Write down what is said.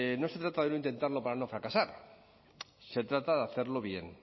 no se trata de no intentarlo para no fracasar se trata de hacerlo bien